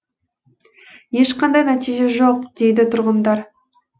ешқандай нәтиже жоқ дейді тұрғындар